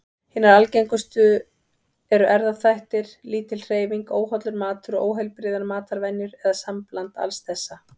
Hinar algengustu eru erfðaþættir, lítil hreyfing, óhollur matur og óheilbrigðar matarvenjur, eða sambland alls þessa.